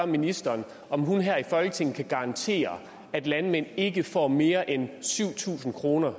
ministeren om hun her i folketinget kan garantere at landmænd ikke får mere end syv tusind kroner